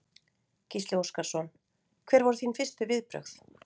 Gísli Óskarsson: Hver voru þín fyrstu viðbrögð?